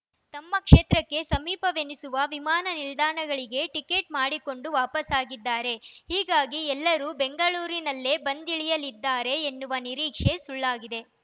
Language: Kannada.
ತಮ್ಮ ಕ್ಷೇತ್ರಕ್ಕೆ ಸಮೀಪವೆನಿಸುವ ವಿಮಾನ ನಿಲ್ದಾಣಗಳಿಗೆ ಟಿಕೆಟ್‌ ಮಾಡಿಕೊಂಡು ವಾಪಸಾಗಿದ್ದಾರೆ ಹೀಗಾಗಿ ಎಲ್ಲರೂ ಬೆಂಗಳೂರಿನಲ್ಲೇ ಬಂದಿಳಿಯಲಿದ್ದಾರೆ ಎನ್ನುವ ನಿರೀಕ್ಷೆ ಸುಳ್ಳಾಗಿದೆ